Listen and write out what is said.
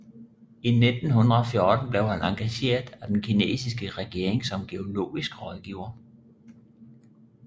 I 1914 blev han engageret af den kinesiske regering som geologisk rådgiver